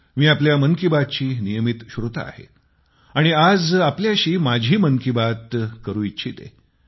मी आपल्या मन की बातची नियमित श्रोता आहे आणि आज आपल्याशी माझी मन की बात करू इच्छिते